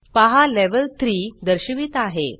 पहा लेव्हल 3 दर्शवित आहे